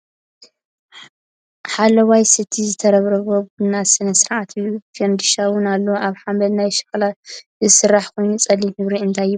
ሓለዋይ ሰቲ ዝተረብረቦናይ ቡና ስነ ስርዓት እዩ። ፋንድሻ እውን ኣሎ። ካብ ሓመድ ናይ ሸክላ ዝስራሕ ኮይኑ ፀሊም ሕብሪ እንታይ ይብሃል?